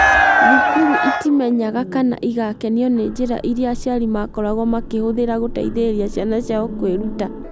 Thukuru itimenyaga kana igakenio nĩ njĩra iria aciari makoragwo makĩhũthĩra gũteithĩrĩria ciana ciao kwĩruta.